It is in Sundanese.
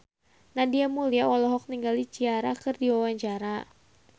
Nadia Mulya olohok ningali Ciara keur diwawancara